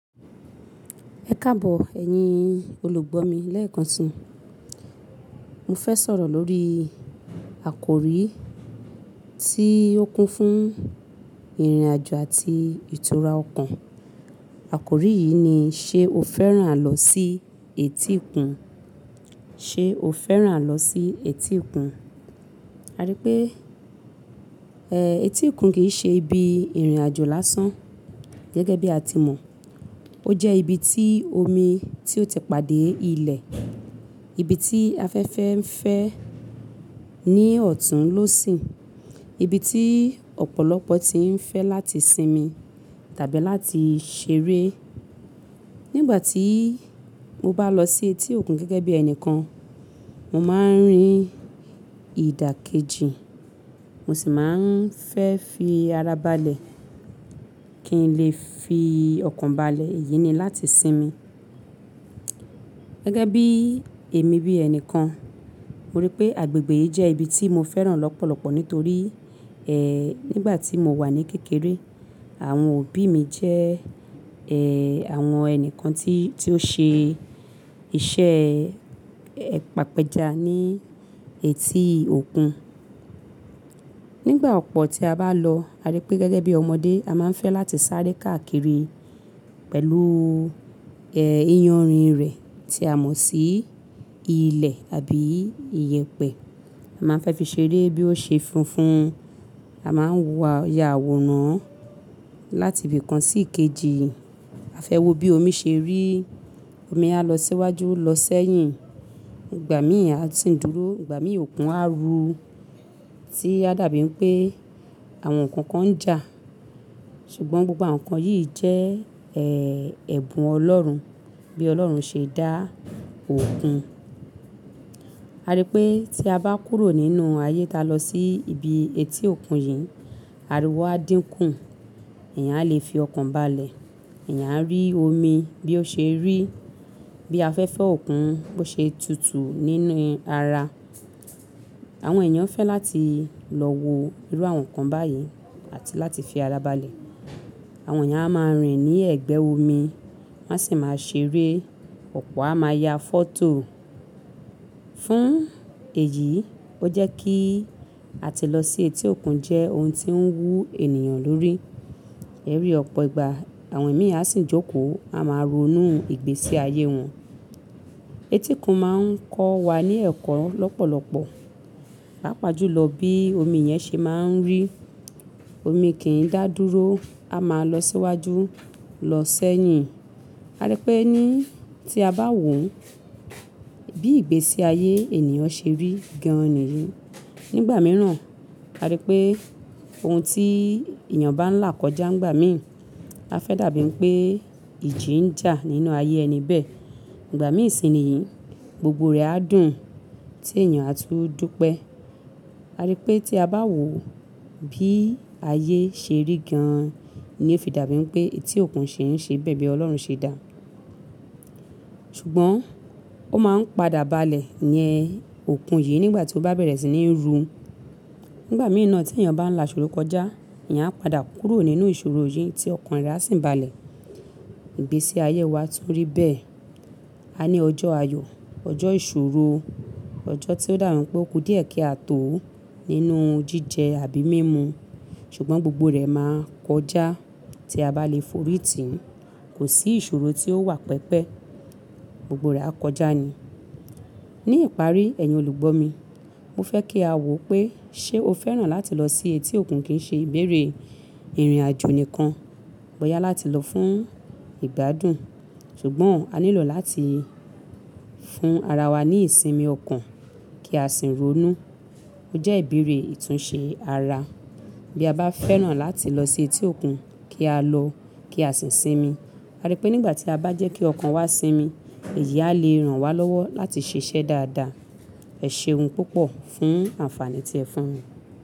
Ẹkáàbọ̀ ẹ̀yin olùgbọ́ mi lẹ́èkan ti, mo fẹ́ sọ̀rọ̀ lórí àkórí tí ó kún fún ìrìnàjò àti ìtura ọkàn. Àkórí yìí ni: ṣe o fẹ́ràn lọ sí etí òkun? Ṣe o fẹ́ràn lọ sí etí òkun? A rí pé, eh, etí òkun kì í ṣe ibi ìrìnàjò lásán gẹ́gẹ́ bí a ti mọ̀. Ó jẹ́ ibi tí omi tí ó ti pàdé ilẹ̀, ibi tí afẹ́fẹ́ ń fẹ́ ní ọ̀tún ló sìń, ibi tí ọ̀pọ̀lọpọ̀ ti ń fẹ́ láti sinmi tàbí láti ṣeré. Nígbà tí mo bá lọ sí etí òkun gẹ́gẹ́ bí ẹnìkan, mo máa ń rin ìdàkejì, mo sì máa ń fẹ́ fi ara balẹ̀ kí n lè fi ọkàn balẹ̀. Èyí ni láti sinmi. Gẹ́gẹ́ bí èmi bí ẹnìkan, mo rí pé agbègbè yìí jẹ́ ibi tí mo fẹ́ràn lọ́pọ̀lọpọ̀ nítorí, ẹ́ẹ́, nígbà tí mo wà ní kékeré, àwọn òbí mi jẹ́, ẹ́ẹ́, àwọn ẹni kan tí, tí ó ṣe iṣẹ́, ẹ́ẹ́, pàpẹ́ja ní etí òkun. Nígbà ọ̀pọ̀ tí a bá lọ, a rí pé gẹ́gẹ́ bí ọmọdé, a máa ń fẹ́ láti sáré káàkiri pẹ̀lú, ẹ́ẹ́, iyanrìn rẹ̀ tí a mọ̀ sí ilẹ̀ àbí iyẹ̀pẹ̀. A máa ń fẹ́ fi ṣeré bí ó ṣe funfun, a máa ń wọ̀ ọ́ ya àwòrán láti ibìkan sí ìkejì. A fẹ́ wo bí omi ṣe rí, omi á lọ síwájú lọ sẹ́yìn, ìgbà míì á sì dúró, ìgbà míì òkun á ru tí a dàbí ẹ́ pé àwọn nǹkan kan ń jà. Ṣùgbọ́n gbogbo àwọn nǹkan yìí jẹ́, ẹ́ẹ́, ẹ̀bùn Ọlọ́run, bí Ọlọ́run ṣe dá òkun. A rí pé tí a bá kúrò nínú ayé ta lọ sí ibi etí òkun yìí, ariwo á dínkù, ẹ̀yàn á lè fi ọkàn balẹ̀, ẹ̀yàn á rí omi bí ó ṣe rí, bí a fẹ́ fẹ́ òkun bó ṣe tutu nínú ara. Àwọn èèyàn fẹ́ láti lọ wo irú àwọn nǹkan báyìí àti láti fi ara balẹ̀. Àwọn èèyàn á máa rìn ní ẹ̀gbẹ́ omi, wọ́n sì máa ṣeré, ọ̀pọ̀ á máa ya fọ́tò. Fún èyí, ó jẹ́ kí á ti lọ sí etí òkun jẹ́ ohun tí ń wú ènìyàn lórí. Èrí ọ̀pọ̀ ìgbà àwọn ẹ̀mí á sì ń jókòó, a máa ronú ìgbésí ayé wọn. Etí òkun máa ń kọ́ wa ní ẹ̀kọ́ lọ́pọ̀lọpọ̀, lápa júlọ bí omi yẹn ṣe máa ń rì. Omi kì í dà dúró, a máa lọ síwájú lọ sẹ́yìn. A rí pé ní tí a bá wò ó bí ìgbésí ayé ènìyàn ṣe rí gan-an ni. Nígbà mìíràn, a rí pé ohun tí èèyàn bá ń là kọjá ìgbà míì, á fẹ́ dàbí ẹ́ pé ìjì ń jà nínú ayé ẹni bẹ́ẹ̀. Ìgbà mìíràn sì ni yìí, gbogbo rẹ̀ á dùn tí èèyàn á tún dúpẹ́. A rí pé tí a bá wò ó bí ayé ṣe rí gan-an ni ó fi dàbí ẹ́ pé etí òkun ṣì ń ṣe bẹ́ẹ̀ bí Ọlọ́run ṣe dá a. Ṣùgbọ́n ó máa ń padà balẹ̀ yẹn òkun yìí nígbà tí ó bá bẹ̀rẹ̀ sí ní run. Nígbà mìí naa tí èèyàn bá ń là ìṣòro kọjá, ẹ̀yàn á padà kúrò nínú ìṣòro yìí tí ọkàn rẹ̀ á sì ń balẹ̀. Ìgbésí ayé wa tún rí bẹ́ẹ̀. A ní ọjọ́ ayọ̀, ọjọ́ ìṣòro, ọjọ́ tí ó dàbí ẹ́ pé ó kú díẹ̀ kí a tó nínú jíjẹ àbí mímu. Ṣùgbọ́n gbogbo rẹ̀ máa kọjá tí a bá lè forí tì í. Kò sí ìṣòro tí ó wà pẹ́pẹ́, gbogbo rẹ̀ á kọjá ni. Ní ìparí, ẹ̀yin olùgbọ́ mi, mo fẹ́ kí a wò ó pé ṣe o fẹ́ràn láti lọ sí etí òkun kì í ṣe ìbéèrè ìrìnàjò nìkan, bọ́yá láti lọ fún ìgbádùn. Ṣùgbọ́n a nílò láti fún ara wa ní ìsinmi ọkàn kí a sì ronú. Ó jẹ́ ìbéèrè ìtúnṣe ara. Bí a bá fẹ́ràn láti lọ sí etí òkun, kí á lọ, kí á sì sinmi. A rí pé nígbà tí a bá jẹ́ kí ọkàn wa sinmi, èyí á lè ràn wá lọ́wọ́ láti ṣiṣẹ́ dáadáa. Ẹ ṣe ohun púpọ̀ fún àǹfààní tí ẹ fún mi.